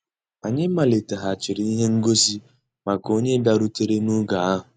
Ànyị́ màlìtéghàchíré íhé ngósì màkà ónyé bìàrùtérè nògé ahụ́.